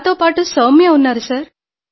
నాతో పాటు సౌమ్య ఉన్నారు సార్